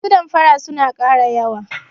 Masu damfara suna ƙara yawa.